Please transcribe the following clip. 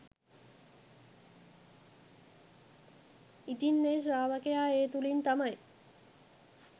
ඉතින් ඒ ශ්‍රාවකයා ඒ තුළින් තමයි